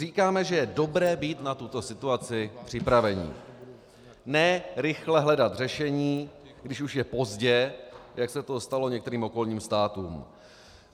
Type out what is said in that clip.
Říkáme, že je dobré být na tuto situaci připraveni, ne rychle hledat řešení, když už je pozdě, jak se to stalo některým okolním státům.